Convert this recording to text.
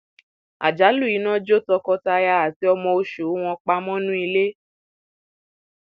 àjálù iná jó tọkọtaya àti ọmọ oṣù wọn pa mọnú ilé